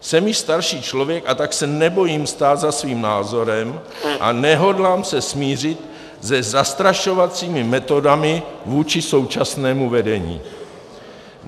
Jsem již starší člověk, a tak se nebojím stát za svým názorem a nehodlám se smířit se zastrašovacími metodami vůči současnému vedení.